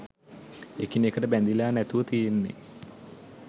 එකිනෙකට බැඳිලා නැතිව තියෙන්නේ